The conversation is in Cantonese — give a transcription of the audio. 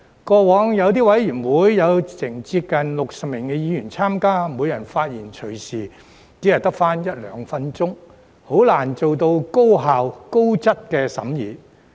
過往有些委員會有接近60名議員參加，每人的發言時間隨時只有一兩分鐘，很難做到高效、高質的審議。